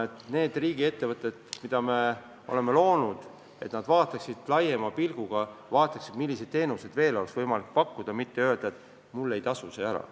Ja ka need riigiettevõtted, mida me oleme loonud, peaksid laiema pilguga vaatama, milliseid teenuseid veel oleks võimalik pakkuda, et mitte öelda, et mul ei tasu see ära.